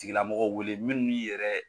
Tigilamɔgɔ wele minnu yɛrɛ